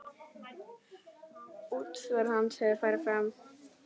Útför hans hefur farið fram.